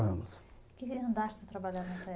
Que andar você trabalhava nessa época?